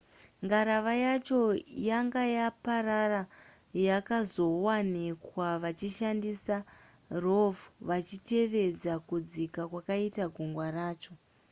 ngarava yacho yanga yaparara yakazowanikwa vachishandisa rov vachitevedza kudzika kwakaita gungwa racho